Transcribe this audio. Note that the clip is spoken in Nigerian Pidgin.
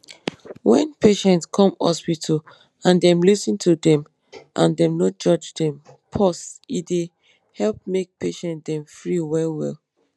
wen patient come hospital and dem lis ten to dem and dem no judge dem pause e dey help make patient dem free well well.